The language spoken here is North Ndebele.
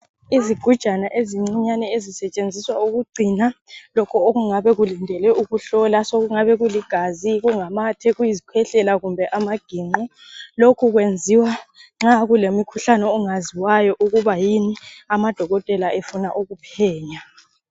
Izigujana ezincinyane ezisetshenziswa ukugcina lokho okungabe kulindele ukuhlolwa. Sekungabe kuligazi, kungamathe, kuyizikhwehlela kumbe amagingqo. Lokhu kulemikhukhane ongaziwayo ukuthi yini amadokotela efuna ukuphenya.